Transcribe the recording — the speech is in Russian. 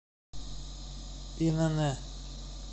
инн